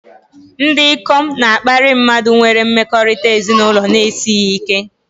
Ndị ikom na-akparị mmadụ nwere mmekọrịta ezinụlọ na-esighị ike